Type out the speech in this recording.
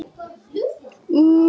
Ertu búinn að finna þér aðra?